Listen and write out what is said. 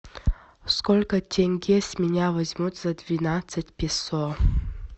сколько тенге с меня возьмут за двенадцать песо